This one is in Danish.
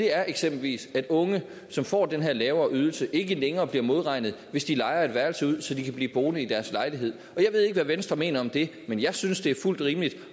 er eksempelvis at unge som får den her lavere ydelse ikke længere bliver modregnet hvis de lejer et værelse ud så de kan blive boende i deres lejlighed jeg ved ikke hvad venstre mener om det men jeg synes det er fuldt ud rimeligt